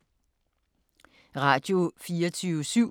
Radio24syv